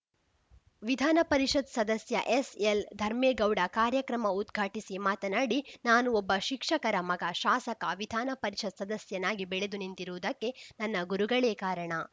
ವಿಧಾನಪರಿಷತ್‌ ಸದಸ್ಯ ಎಸ್‌ಎಲ್ ಧರ್ಮೇಗೌಡ ಕಾರ್ಯಕ್ರಮ ಉದ್ಘಾಟಿಸಿ ಮಾತನಾಡಿ ನಾನು ಒಬ್ಬ ಶಿಕ್ಷಕರ ಮಗ ಶಾಸಕ ವಿಧಾನ ಪರಿಷತ್‌ ಸದಸ್ಯನಾಗಿ ಬೆಳೆದು ನಿಂತಿರುವುದಕ್ಕೆ ನನ್ನ ಗುರುಗಳೇ ಕಾರಣ